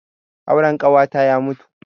Auren ƙawata ya mutu.